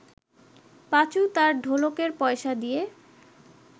পাঁচু তার ঢোলকের পয়সা দিয়ে